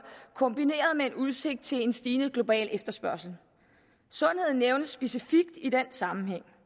kombineret med en udsigt til en stigende global efterspørgsel sundhed nævnes specifikt i den sammenhæng